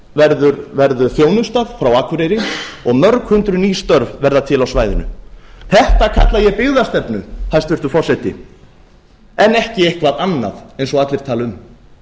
álverið verður þjónustað frá akureyri og mörg hundruð ný störf verða til á svæðinu þetta kalla ég byggðastefnu hæstvirtur forseti en ekki eitthvað annað eins og allir tala um